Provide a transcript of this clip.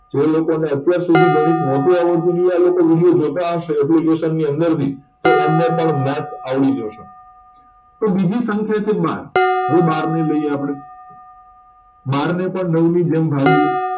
જે લોકો ને અત્યાર સુધી ગણિત નતું આવડતું ને એ લોકો video જોતા હશે application ની અંદર થી તો એમને પણ મત આવડી જશે તો બીજી સંખ્યા છે બાર હવે બાર ને લઈએ આપડે બાર ને પણ નવ ની જેમ ભાગી